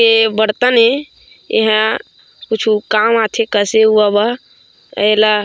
ए बर्तन ए एहा कुछु काम आथे कसे उआ बर एला --